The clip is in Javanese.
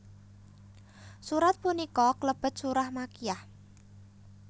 Surat punika klebet surah Makkiyah